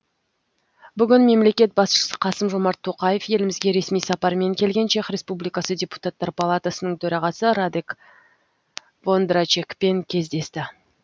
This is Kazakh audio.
бүгін мемлекет басшысы қасым жомарт тоқаев елімізге ресми сапармен келген чех республикасы депутаттар палатасының төрағасы радек вондрачекпен кездесті